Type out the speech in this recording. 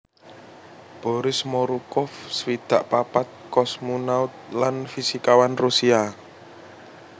Boris Morukov swidak papat kosmonaut lan fisikawan Rusia